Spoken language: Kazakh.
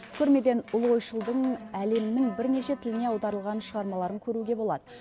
көрмеден ұлы ойшылдың әлемнің бірнеше тіліне аударылған шығармаларын көруге болады